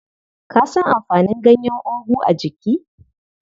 Ka san amfanin ganyen ogu a jiki?